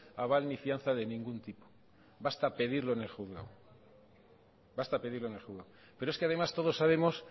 aval ni fianza de ningún tipo basta pedirlo en el juzgado pero es que además todos sabemos